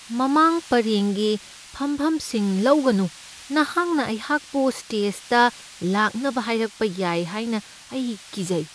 ꯃꯃꯥꯡ ꯄꯔꯦꯡꯒꯤ ꯐꯝꯐꯝꯁꯤꯡ ꯂꯧꯒꯅꯨ ꯫ ꯃꯍꯥꯛꯅ ꯑꯩꯍꯥꯛꯄꯨ ꯁ꯭ꯇꯦꯖꯗ ꯂꯥꯛꯅꯕ ꯍꯥꯏꯔꯛꯄ ꯌꯥꯏ ꯍꯥꯏꯅ ꯑꯩ ꯀꯤꯖꯩ꯫